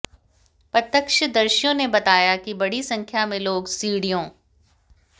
प्रत्यक्षदर्शियों ने बताया कि बड़ी संख्या में लोग सीढ़ियों